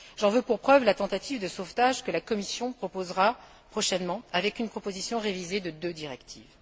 J'en veux pour preuve la tentative de sauvetage que la Commission proposera prochainement avec une proposition révisée de deux directives.